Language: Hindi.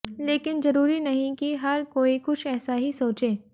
लेकिन जरूरी नहीं कि हर कोई कुछ ऐसा ही सोचे